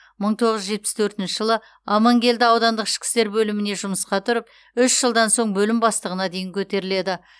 мың тоғыз жүз жетпіс төртінші жылы аманкелді аудандық ішкі істер бөліміне жұмысқа тұрып үш жылдан соң бөлім бастығына дейін көтеріледі